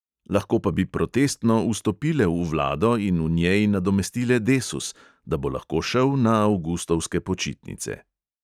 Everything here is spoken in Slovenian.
Lahko pa bi protestno vstopile v vlado in v njej nadomestile desus, da bo lahko šel na avgustovske počitnice.